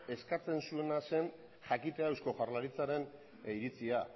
eskatzen zuena zen jakitea eusko jaurlaritzaren iritzia